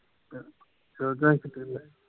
ਸ਼ੋਡਾ ਦੇ ਏ